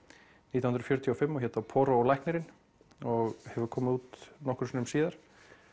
nítján hundruð fjörutíu og fimm og hét þá Poirot og læknirinn og hefur komið út nokkrum sinnum síðar